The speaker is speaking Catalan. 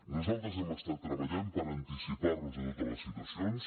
nosaltres hem estat treballant per anticipar nos a totes les situacions